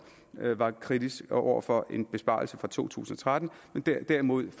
var kritisk over for nemlig en besparelse for to tusind og tretten men derimod et